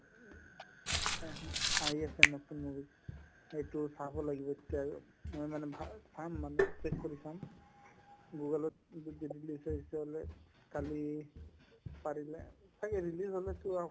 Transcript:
আহি আহি আছে নতুন movie সেইটোও চাব লাগিব এতিয়া আৰু মই মানে ভাল চাম মানে চেচ কৰি চাম google ত যদি release হৈ চলে কালি পাৰিলে ছাগে release হ'লেতো আ